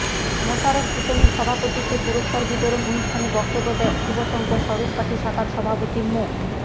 মোশারফ হোসেনের সভাপতিত্বে পুরস্কার বিতরণ অনুষ্ঠানে বক্তব্য দেন শুভসংঘ স্বরূপকাঠি শাখার সভাপতি মো